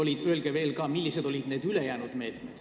Ja öelge veel, millised olid ülejäänud meetmed.